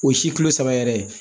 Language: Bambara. O ye si kilo saba yɛrɛ ye